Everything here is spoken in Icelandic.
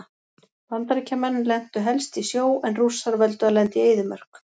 Bandaríkjamenn lentu helst í sjó en Rússar völdu að lenda í eyðimörk.